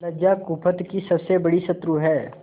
लज्जा कुपथ की सबसे बड़ी शत्रु है